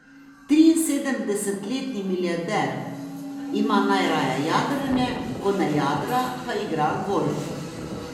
Triinsedemdesetletni milijarder ima najraje jadranje, ko ne jadra, pa igra golf.